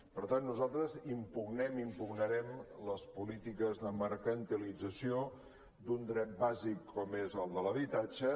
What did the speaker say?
per tant nosaltres impugnem i impugnarem les polítiques de mercantilització d’un dret bàsic com és el de l’habitatge